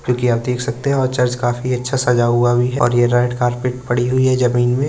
जोकि आप देख सकते हैं और चर्च काफी अच्छा सजा हुआ भी है और ये रेड कारपेट पड़ी हुई है जमीन में।